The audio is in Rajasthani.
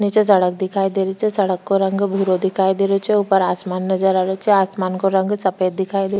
नीचे सड़क दिखाई दे रही छे सड़क को रंग भूरो दिखाई दे रहियो छे ऊपर आसमान नजर आ रहियो छे आसमान काे रंग सफेद दिखाई दे --